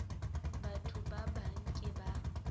batho ba bang ke ba